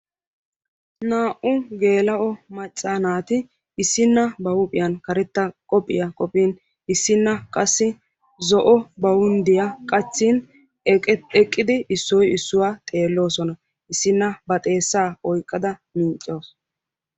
naa'u geelao macca naati issinna ba huuphiyan karetta qophiya qophin issina bawundiya qachin issinna xeesaa oyqada miicawusu.